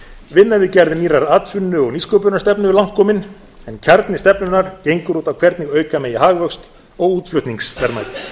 vinna við gerð nýrrar atvinnu og nýsköpunarstefnu er langt komin en kjarni stefnunnar gengur út á það hvernig auka megi hagvöxt og útflutningsverðmæti